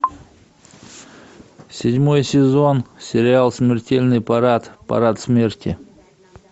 седьмой сезон сериал смертельный парад парад смерти